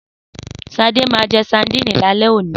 Sadé ma je sandínì lálẹ́ oní.